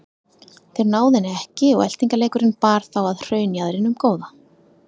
Þeir náðu henni ekki og eltingaleikurinn bar þá að hraunjaðrinum góða.